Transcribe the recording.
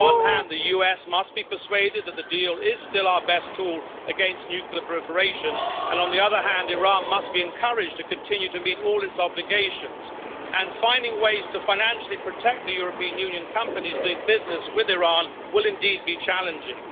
On the one hand, the US must be persuaded that the deal is still our best tool against nuclear proliferation, and on the other hand, Iran must be encouraged to continue to meet all its obligations. Finding ways to financially protect the European Union companies doing business with Iran will indeed be challenging.